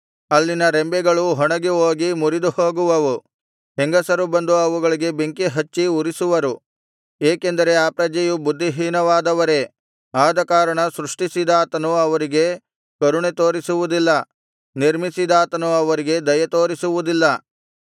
ಅಲ್ಲಿನ ರೆಂಬೆಗಳು ಒಣಗಿಹೋಗಿ ಮುರಿದುಹೋಗುವವು ಹೆಂಗಸರು ಬಂದು ಅವುಗಳಿಗೆ ಬೆಂಕಿ ಹಚ್ಚಿ ಉರಿಸುವರು ಏಕೆಂದರೆ ಆ ಪ್ರಜೆಯು ಬುದ್ಧಿಹೀನವಾದವರೇ ಆದಕಾರಣ ಸೃಷ್ಟಿಸಿದಾತನು ಅವರಿಗೆ ಕರುಣೆ ತೋರಿಸುವುದಿಲ್ಲ ನಿರ್ಮಿಸಿದಾತನು ಅವರಿಗೆ ದಯೆತೋರಿಸುವುದಿಲ್ಲ